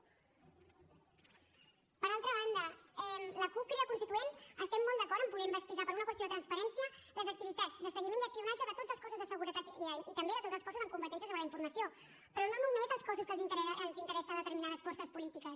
per altra banda la cup crida constituent estem molt d’acord amb poder investigar per una qüestió de transparència les activitats de seguiment i espionatge de tots els cossos de seguretat i també de tots els cossos amb competència sobre la informació però no només dels cossos que els interessa a determinades forces polítiques